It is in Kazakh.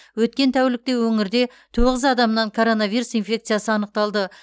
өткен тәулікте өңірде тоғыз адамнан коронавирус инфекциясы анықталды